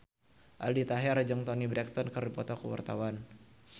Aldi Taher jeung Toni Brexton keur dipoto ku wartawan